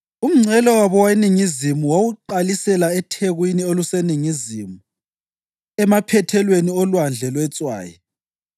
Umngcele wabo weningizimu wawuqalisela ethekwini oluseningizimu emaphethelweni oLwandle lweTswayi,